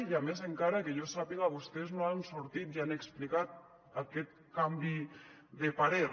i a més encara que jo sàpiga vostès no han sortit i han explicat aquest canvi de parer